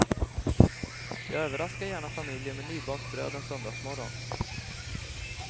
Jag överraskar gärna familjen med nybakt bröd en söndagmorgon.